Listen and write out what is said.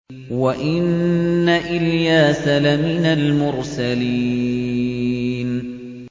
وَإِنَّ إِلْيَاسَ لَمِنَ الْمُرْسَلِينَ